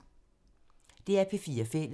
DR P4 Fælles